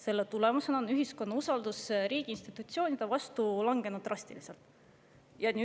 Selle tulemusena on ühiskonna usaldus riigi institutsioonide vastu drastiliselt langenud.